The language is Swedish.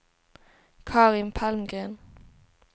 Carin Palmgren